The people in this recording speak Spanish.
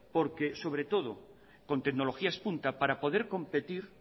porque sobre todo con tecnologías punta para poder competir